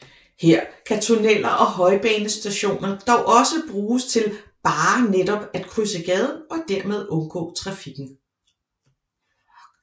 Her kan tunneler og højbanestationer dog også bruges til bare netop at krydse gaden og dermed undgå trafikken